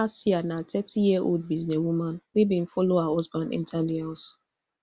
kassia na thirtyyearold businesswoman wey bin follow her husband enta di house